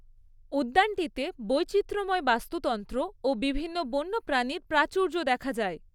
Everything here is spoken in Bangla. উদ্যানটিতে বৈচিত্র্যময় বাস্তুতন্ত্র ও বিভিন্ন বন্য প্রাণীর প্রাচুর্য দেখা যায়।